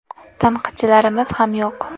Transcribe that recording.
Tanqidchilarimiz ham yo‘q.